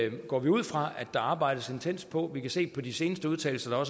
går vi ud fra at der arbejdes intenst på vi kan se på de seneste udtalelser